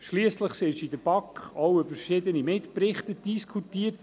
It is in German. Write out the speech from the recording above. Schliesslich wurde in der BaK auch über die verschiedenen Mitberichte diskutiert.